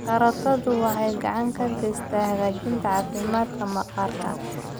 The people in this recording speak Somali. Karootadu waxay gacan ka geysataa hagaajinta caafimaadka maqaarka.